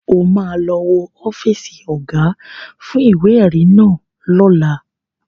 O ma lọ wo ọ́fíìsì Ọ̀gá fún ìwé-ẹ̀rí náà lọ́la